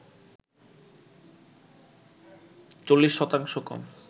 ৪০ শতাংশ কম